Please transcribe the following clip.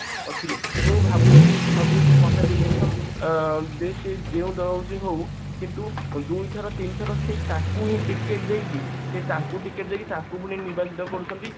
ଅଛି ମୁଁ ଭାବୁଛି ଭାବୁଛି ଯଦି election ଅ ଯୋଉଟା ହଉଛି ହଉ ଦୁଇ ଥର ତିନିଥର ସେଇ ତାଙ୍କୁ ticket ଦେଇକି ସେ ତାଙ୍କୁ ticket ସେଇକି ତାଙ୍କୁ ମାନେ ନିର୍ବାଚିତ କରୁଛନ୍ତି